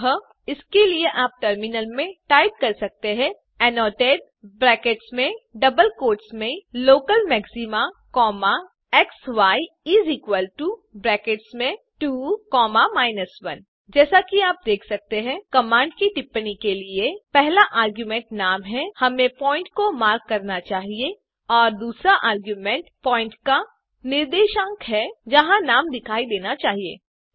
अतः इसके लिए आप टर्मिनल में टाइप कर सकते हैं एनोटेट ब्रैकेट्स में डबल कोट्स में local maxima comma xi is equal to brackets में 2 कॉमा 1 जैसा कि आप देख सकते है कमांड की टिप्पणी के लिए पहला आर्ग्युमेंट नाम है हमें प्वॉइंट को मार्क करना चाहिए और दूसरा आर्ग्युमेंट प्वॉइंट का निर्देशांक है जहाँ नाम दिखाई देना चाहिए